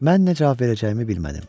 Mən nə cavab verəcəyimi bilmədim.